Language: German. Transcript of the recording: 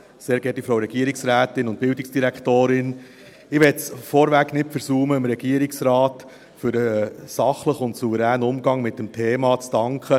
Ich möchte es vorweg nicht versäumen, dem Regierungsrat für den sachlichen und souveränen Umgang mit dem Thema zu danken.